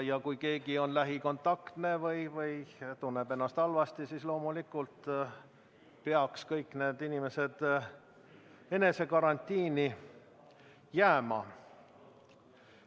Kui keegi on lähikontaktne või tunneb ennast halvasti, siis loomulikult peaks kõik need inimesed eneseisolatsiooni jääma.